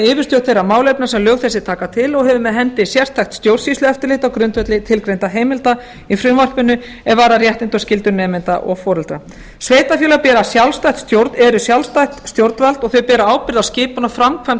yfirstjórn þeirra málefna sem lög þessi taka til og hefur með hendi sérstakt stjórnsýslueftirlit á grundvelli tilgreindra heimilda í frumvarpinu er varðar réttindi og skyldur nemenda og foreldra sveitarfélög eru sjálfstætt stjórnvald og þau bera ábyrgð á skipun og framkvæmd